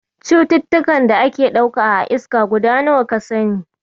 Cututtukan da ake ɗauka a iska guda nawa ka sani?